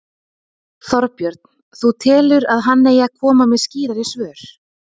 Þorbjörn: Þú telur að hann eigi að koma með skýrari svör?